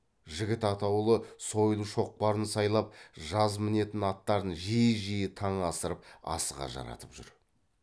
жігіт атаулы сойыл шоқпарын сайлап жаз мінетін аттарын жиі жиі таң асырып асыға жаратып жүр